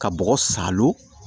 Ka bɔgɔ sa lo